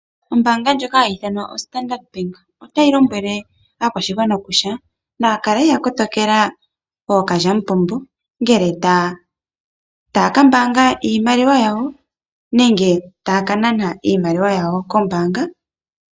Ombaanga ndjoka hayi ithanwa Standard Bank, otayi lombwele aakwashigwana kutya nayakale ya kotokela ookalyamupombo, ngele tayaka mbaanga iimaliwa yawo, nenge tayaka nana iimaliwa yawo kombaanga.